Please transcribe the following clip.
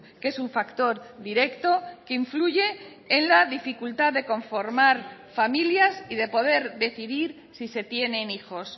que es un factor directo que influye en la dificultad de conformar familias y de poder decidir si se tienen hijos